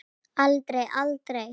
Aldrei, aldrei!